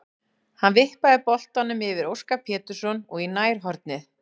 Hann vippaði boltanum yfir Óskar Pétursson og í nærhornið.